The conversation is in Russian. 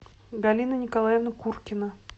галина николаевна куркина